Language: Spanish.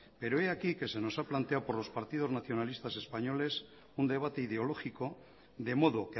pero e aquí que se nos ha planteado por los partidos nacionalistas españoles un debate ideológico de modo